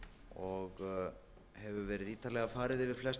og hefur verið ítarlega farið